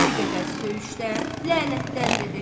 Bir qədər söyüşdən, lənətləndi dedi.